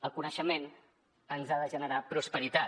el coneixement ens ha de generar prosperitat